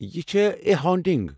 یہِ چھِ "a haunting".